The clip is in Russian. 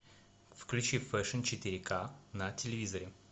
включи фэшн четыре к на телевизоре